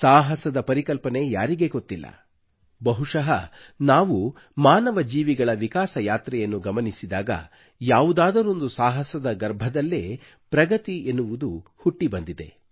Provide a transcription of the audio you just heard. ಸಾಹಸದ ಪರಿಕಲ್ಪನೆ ಯಾರಿಗೆ ಗೊತ್ತಿಲ್ಲ ಬಹುಶಃ ನಾವು ಮಾನವ ಜೀವಿಗಳ ವಿಕಾಸ ಯಾತ್ರೆಯನ್ನು ಗಮನಿಸಿದಾಗ ಯಾವುದಾದರೊಂದು ಸಾಹಸದ ಗರ್ಭದಲ್ಲೇ ಪ್ರಗತಿ ಎನ್ನುವುದು ಹುಟ್ಟಿಬಂದಿದೆ